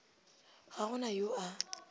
ga go na yo a